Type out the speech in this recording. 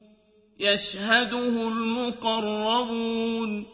يَشْهَدُهُ الْمُقَرَّبُونَ